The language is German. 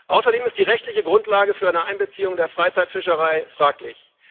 Außerdem ist die rechtliche Grundlage für eine Einbeziehung der Freizeitfischerei fraglich.